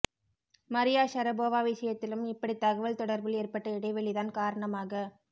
Maria Sharapova விஷயத்திலும் இப்படி தகவல் தொடர்பில் ஏற்பட்ட இடைவெளிதான் காரணமாக